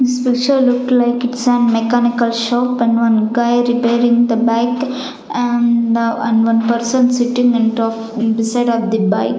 this picture look like it's a mechanical shop and one guy repairing the bike and uh and one person sitting and talk on the side of the bike.